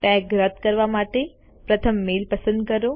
tag રદ કરવા માટે પ્રથમ મેઈલ પસંદ કરો